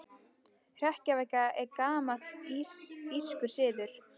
Hrekkjavaka er gamall írskur siður.